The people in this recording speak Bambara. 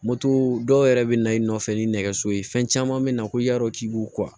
dɔw yɛrɛ bɛ na i nɔfɛ ni nɛgɛso ye fɛn caman min na ko y'a dɔn k'i b'o